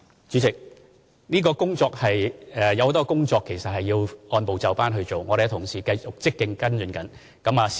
主席，有很多工作其實是要按部就班進行的，我們的同事繼續積極跟進中。